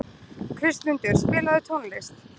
Kristmundur, spilaðu tónlist.